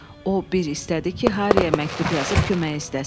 O, bir istədi ki, Hariyə məktub yazıb köməyi istəsin.